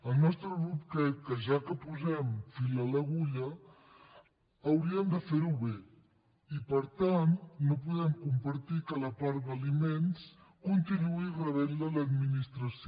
el nostre grup creu que ja que posem fil a l’agulla hauríem de fer ho bé i per tant no podem compartir que la part d’aliments continuï rebent la l’administració